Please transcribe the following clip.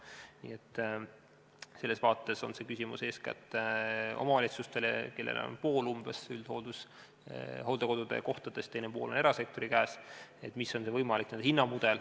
Nii et selles vaates on see küsimus, mis on see võimalik hinnamudel, eeskätt omavalitsustele, kellel on umbes pool üldhooldekodu kohtadest, teine pool on erasektori käes.